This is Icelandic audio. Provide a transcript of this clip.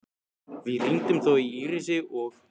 Við hringdum þó í Írisi og